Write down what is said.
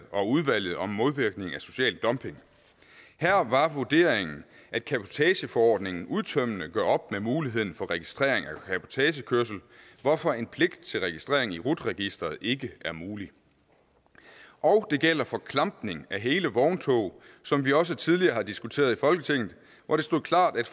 og udvalget om modvirkning af social dumping her var vurderingen at cabotageforordningen udtømmende gør op med muligheden for registrering af cabotagekørsel hvorfor en pligt til registrering i rut registeret ikke er mulig og det gælder for klampning af hele vogntog som vi også tidligere har diskuteret i folketinget hvor det stod klart at